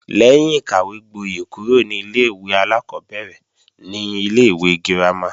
Lẹ́yìn ìkàwégbóyè kúrò ní ilé-ìwé alákọ́bẹ̀rẹ̀ ni ilé-ìwé girama